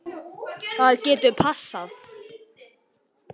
Það getur passað.